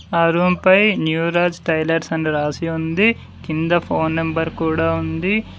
ఆ రూమ్ పై New Raj Tailors అని రాసి ఉంది కింద ఫోన్ నెంబర్ కూడా ఉంది.